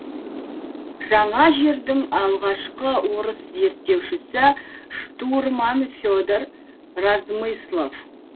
жаңа жердің алғашқы орыс зерттеушісі штурман федор размыслов